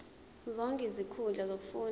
zonke izinkundla zokufunda